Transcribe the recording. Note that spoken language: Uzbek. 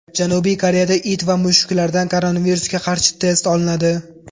Janubiy Koreyada it va mushuklardan koronavirusga qarshi test olinadi.